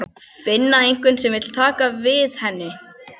Finna einhvern sem vill taka við henni.